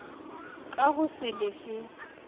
ka ho se le fe